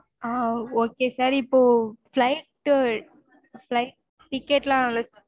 ஆஹ் okay sir இப்போ flight flight ticket லாம்